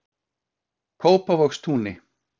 Kópavogstúni